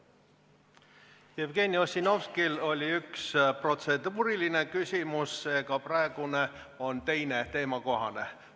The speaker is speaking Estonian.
Jevgeni Ossinovskil oli üks protseduuriline küsimus, seega praegune on teine teemakohane.